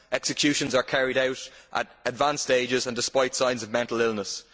Executions are carried out at advanced ages and despite signs of mental illness.